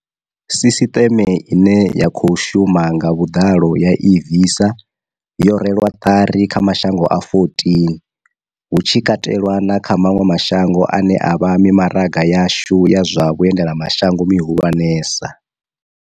Sisiṱeme ine ya khou shuma nga vhuḓalo ya eVisa, yo rwelwa ṱari kha mashango a 14, hu tshi katelwa na kha maṅwe mashango ane a vha mi maraga yashu ya zwa vha endelamashango mihulwanesa.